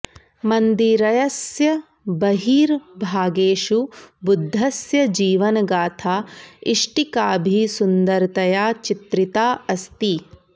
मन्दिरस्य बहिर्भागेषु बुद्धस्य जीवनगाथा इष्टिकाभिः सुन्दरतया चित्रिता अस्ति